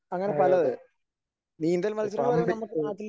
ആ അതെ